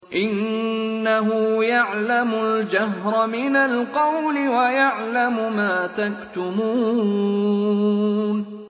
إِنَّهُ يَعْلَمُ الْجَهْرَ مِنَ الْقَوْلِ وَيَعْلَمُ مَا تَكْتُمُونَ